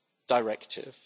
Directive.